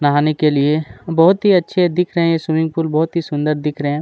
नहाने के लिए और बहुत ही अच्छे दिख रहे है स्विमिंग पूल बहुत ही सुंदर दिख रहे है।